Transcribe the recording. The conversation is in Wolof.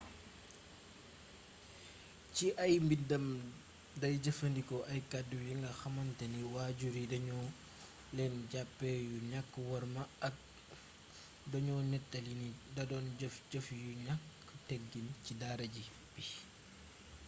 ci ay mbindam day jëfandikoo ay kàddu yinga xamantani waajur yi da ñu leen jàppe yu ñàkkk worma ak doño nettali ni da doon jëf jëf yu ñaak teggin ci dara ji bi